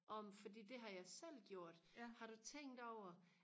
om fordi det har jeg selv gjort har du tænkt over